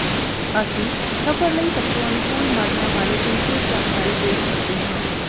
ਅਸੀਂ ਸਫਰ ਲਈ ਸਭ ਤੋਂ ਅਨੁਕੂਲ ਮਾਡਲਾਂ ਬਾਰੇ ਸੰਖੇਪ ਜਾਣਕਾਰੀ ਪੇਸ਼ ਕਰਦੇ ਹਾਂ